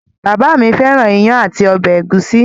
Bàbá mi fẹ́ràn iyán àti ọbẹ̀ ẹ̀gúsí.